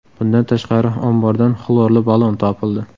Bundan tashqari, ombordan xlorli ballon topildi.